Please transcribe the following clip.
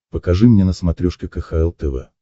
покажи мне на смотрешке кхл тв